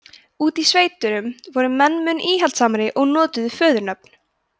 úti í sveitunum voru menn mun íhaldssamari og notuðu föðurnöfn